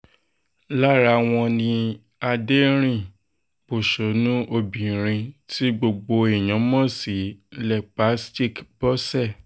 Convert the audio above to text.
lára wọn ni adẹ̀rìn-pọ̀ṣónù obìnrin tí gbogbo èèyàn mọ̀ sí lepastic bose